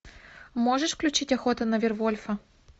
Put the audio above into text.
можешь включить охота на вервольфа